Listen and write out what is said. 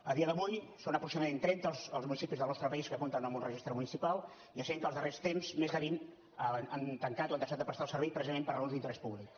a dia d’avui són aproximadament trenta els municipis del nostre país que compten amb un registre municipal i essent que en els darrers temps més de vint han tancat o han deixat de prestar el servei precisament per raons d’interès públic